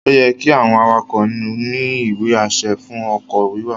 Ó yẹ́ kí àwọn awakọ̀ ní ìwé-àṣẹ fún ọkọ̀ wíwà